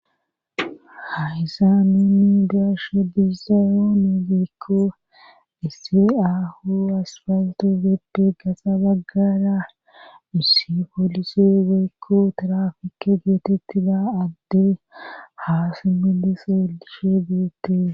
Haysamenni darshe dizayoone giikko ise7ahu aspalto bepbe gasa baggara hissi polise geekko tirafike geetettida adde haasimiliseelishe geette.